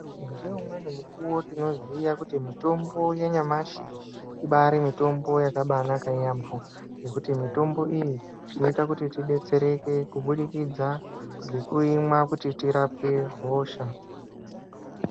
Ngeumweni mukuwo tinoziye kuti mutombo wanyamashi ibari mutombo yakanaka yambo ngekuti mutombo iyi chinoita kuti tidetsereke kubudikidza ngekuimwa kuti tirapwe hosha.